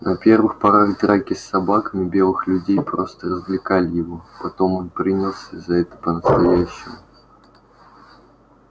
на первых порах драки с собаками белых людей просто развлекали его потом он принялся за это по настоящему